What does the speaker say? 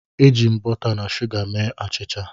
Eji m bọta na shuga mee achịcha.